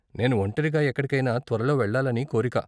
నేను ఒంటరిగా ఎక్కడికైనా త్వరలో వెళ్ళాలని కోరిక.